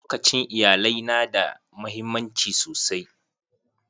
Lokacin iyalai na da muhimmanci sosai.